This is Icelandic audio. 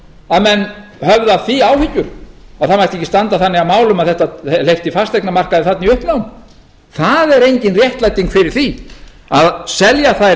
að menn höfðu af því áhyggjur að það mætti ekki standa þannig að málum að þetta hleypti fasteignamarkaði þarna í uppnám það er engin réttlæting fyrir því að selja þær